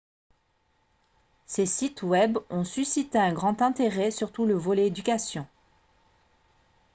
ces sites web ont suscité un grand intéret surtout le volet éducation